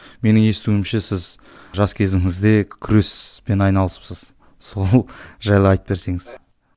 менің естуімше сіз жас кезіңізде күреспен айналысыпсыз сол жайлы айтып берсеңіз